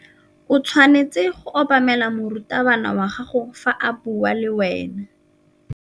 O tshwanetse go obamela morutabana wa gago fa a bua le wena.